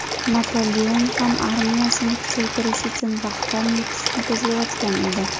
Napoleon ham armiyasini kuchaytirish uchun vaqtdan yutishni ko‘zlayotgan edi.